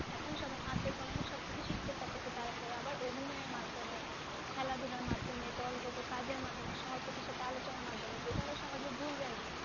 এখন সবাই হাতে কলমে সব কিছু শিখতে পারতেছে, তারপর আবার অভিনয়ের মাধ্যমে, খেলাধুলার মাধ্যমে দলগত কাজের মাধ্যমে আলোচনার মাধ্যমে যেটা ওরা সহজে ভুলবে না।